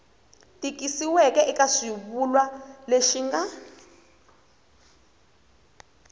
tikisiweke eka xivulwa lexi nga